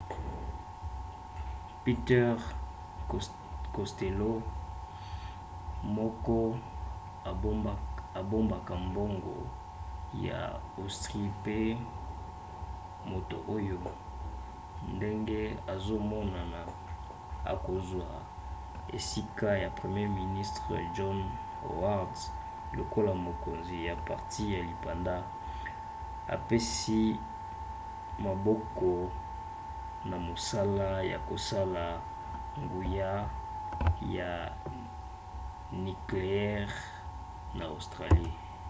peter costello moko abombaka mbongo ya austrie pe moto oyo ndenge ezomonana akozwa esika ya premier ministre john howard lokola mokonzi ya parti ya lipanda apesi maboko na mosala ya kosala nguya ya nikleyere na australie